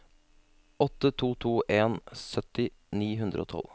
åtte to to en sytti ni hundre og tolv